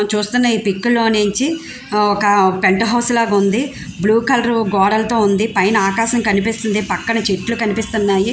మనం చూస్తున ఇ పిక్ లో నుంచి ఒక్క పెంట్ హౌస్ లాగా ఉంది. బ్లూ కలర్ గోడలతో ఉంది. పైన ఆకాశం కనిపిస్తుంది. పక్కన చెట్లు కనిపిస్తున్నాయి.